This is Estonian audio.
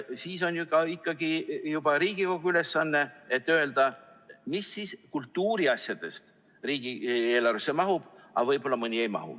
Siis on ju ikkagi juba Riigikogu ülesanne öelda, mis kultuuriasjadest riigieelarvesse mahub ja et võib-olla mõni ei mahu.